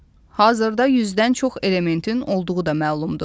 Hazırda yüzdən çox elementin olduğu da məlumdur.